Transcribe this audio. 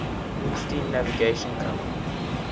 steam navigation company